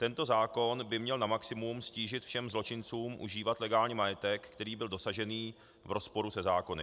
Tento zákon by měl na maximum ztížit všem zločincům užívat legálně majetek, který byl dosažen v rozporu se zákony.